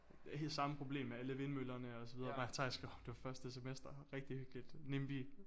Samme problem med alle vindmøllerne og så videre mig og Theis skrev om det på første semester rigtig hyggeligt NIMBY